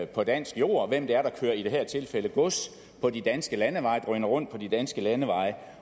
på dansk jord hvem det er der kører i det her tilfælde gods på de danske landeveje og drøner rundt på de danske landeveje